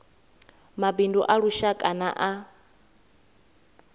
mabindu a lushaka na a